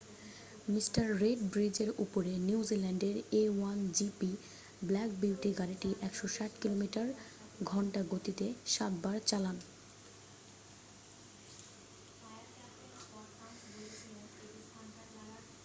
Mr Red ব্রিজের উপরে নিউজিল্যান্ডের a1gp ব্ল্যাক বিউটি গাড়িটি 160 কিলোমিটার / ঘন্টা গতিতে সাতবার চালান